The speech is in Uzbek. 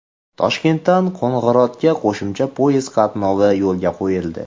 Toshkentdan Qo‘ng‘irotga qo‘shimcha poyezd qatnovi yo‘lga qo‘yildi.